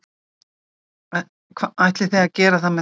Ætlið þið að gera það með þessu?